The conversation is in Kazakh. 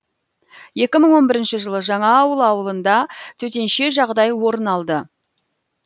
екі мың он бірінші жылы жаңаауыл ауылында төтенше жағдай орын алды